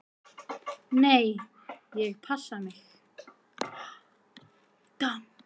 """Nei, ég passa mig."""